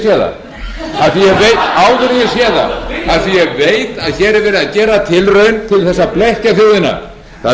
því að ég veit að hér er verið að gera tilraun